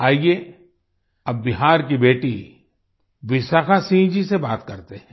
आइये अब बिहार की बेटी विशाखा सिंह जी से बात करते हैं